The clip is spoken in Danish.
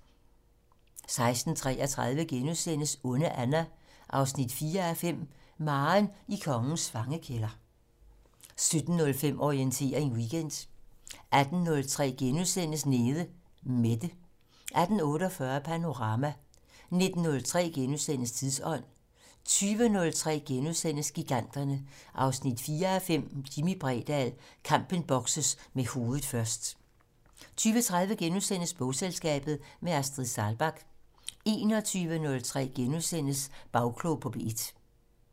16:33: Onde Anna 4:5 - Maren i kongens fangekælder * 17:05: Orientering Weekend 18:03: Nede Mette * 18:48: Panorama 19:03: Tidsånd * 20:03: Giganterne 4:5 - Jimmi Bredahl: Kampen bokses med hovedet først * 20:30: Bogselskabet - med Astrid Saalbach * 21:03: Bagklog på P1 *